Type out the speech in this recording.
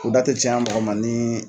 U da tɛ caya mɔgɔ ma ni